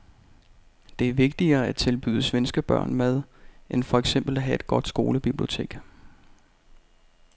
Det er vigtigere at tilbyde svenske børn mad end for eksempel at have et godt skolebibliotek.